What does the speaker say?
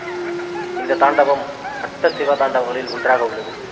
இந்த தாண்டவம் அட்ட சிவதாண்டவங்களில் ஒன்றாக உள்ளது